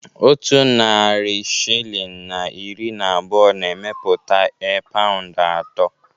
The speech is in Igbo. Otu narị shilling na iri na abụọ na-emepụta e paụnd atọ